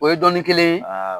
O ye dɔnni kelen ye?